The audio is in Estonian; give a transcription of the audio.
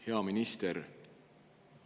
Hea minister!